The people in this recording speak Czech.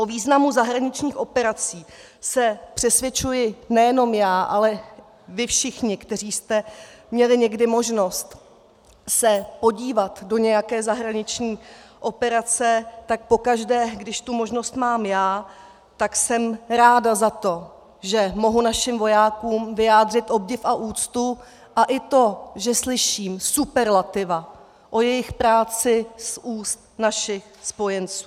O významu zahraničních operací se přesvědčuji nejenom já, ale vy všichni, kteří jste měli někdy možnost se podívat do nějaké zahraniční operace, tak pokaždé, když tu možnost mám já, tak jsem ráda za to, že mohu našim vojákům vyjádřit obdiv a úctu, a i to, že slyším superlativy o jejich práci z úst našich spojenců.